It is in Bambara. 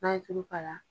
N'a ye tulu k'a la